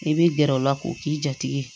I bɛ gɛrɛ u la k'u k'i jatigɛ